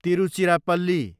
Tiruchirappalli